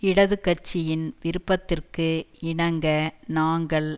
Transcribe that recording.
இடது கட்சியின் விருப்பத்திற்கு இணங்க நாங்கள்